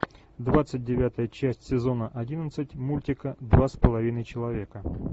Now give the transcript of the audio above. двадцать девятая часть сезона одиннадцать мультика два с половиной человека